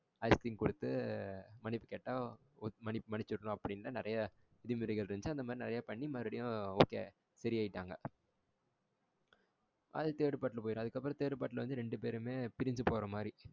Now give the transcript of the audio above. Ice cream குடுத்து பணிப்பு கேட்டா மன்னிச் மனிச்சிடனும் அப்டின்னு நிறைய விதிமுறைகள் இருந்துச்சு அந்த மாதிரி நெறைய பண்ணி okay சரி ஆகிட்டாங்க அது third part போய்டும். அதுக்கு அப்புறம் third part ல வந்து ரெண்டு பேருமே பிரிஞ்சி போற மாதிரி.